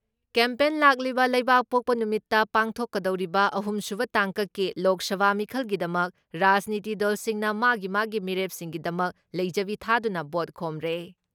Campaign ꯂꯥꯛꯂꯤꯕ ꯂꯩꯕꯥꯛꯄꯣꯛꯄ ꯅꯨꯃꯤꯠꯇ ꯄꯥꯡꯊꯣꯛꯀꯗꯧꯔꯤꯕ ꯑꯍꯨꯝꯁꯨꯕ ꯇꯥꯡꯀꯛꯀꯤ ꯂꯣꯛ ꯁꯚꯥ ꯃꯤꯈꯜꯒꯤꯗꯃꯛ ꯔꯥꯖꯅꯤꯇꯤ ꯗꯜꯁꯤꯡꯅ ꯃꯥꯒꯤ ꯃꯥꯒꯤ ꯃꯤꯔꯦꯞꯁꯤꯡꯒꯤꯗꯃꯛ ꯂꯩꯖꯕꯤ ꯊꯥꯗꯨꯅ ꯚꯣꯠ ꯈꯣꯝꯔꯦ ꯫